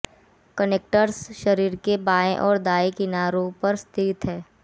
connectors शरीर के बाएँ और दाएँ किनारों पर स्थित हैं